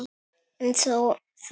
En þó það.